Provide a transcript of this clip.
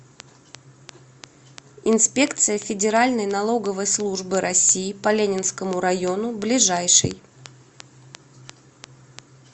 инспекция федеральной налоговой службы россии по ленинскому району ближайший